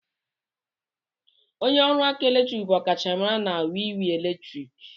Onye ọrụ ọkụ eletrik bụ ọkachamara na wiwi eletrik.